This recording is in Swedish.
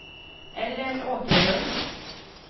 Ellen Åkerlund